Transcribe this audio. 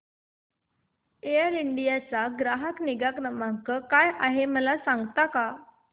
air India चा ग्राहक निगा क्रमांक काय आहे मला सांगता का